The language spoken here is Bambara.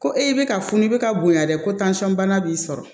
Ko e bɛ ka funu bɛ ka bonya dɛ kosɔn bana b'i sɔrɔ